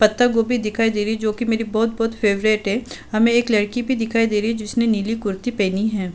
पत्‍ता गोभी दिखाई दे रही है जोकि मेरी बहोत-बहोत फेवरेट है। हमें एक लड़की भी दिखाई दे रही है जिसने नीली कुर्ती पहनी हैं।